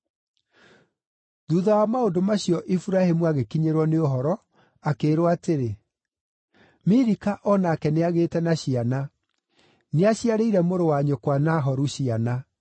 Thuutha wa maũndũ macio Iburahĩmu agĩkinyĩrwo nĩ ũhoro, akĩĩrwo atĩrĩ, “Milika o nake nĩagĩĩte na ciana; nĩaciarĩire mũrũ-wa-nyũkwa Nahoru ciana: